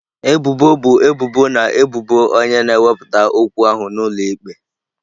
Ebubo bụ ebubo na ebubo onye na-ewepụta okwu ahụ n'ụlọ ikpe.